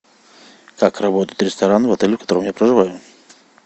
как работает ресторан в отеле в котором я проживаю